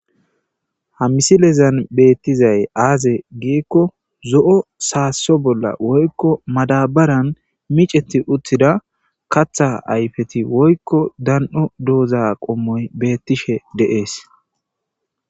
Ha misileza ta bea'she dizaysi aze giko zo' saso woyko madabare bolla miceti utida kata ayfeti woyko dano'doza qomoy betishe dizays betes.